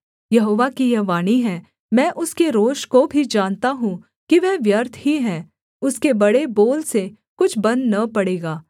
यहोवा की यह वाणी है मैं उसके रोष को भी जानता हूँ कि वह व्यर्थ ही है उसके बड़े बोल से कुछ बन न पड़ा